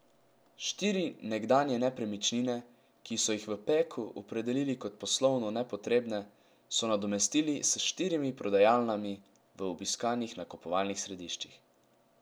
Štiri nekdanje nepremičnine, ki so jih v Peku opredelili kot poslovno nepotrebne, so nadomestili s štirimi prodajalnami v obiskanih nakupovalnih središčih.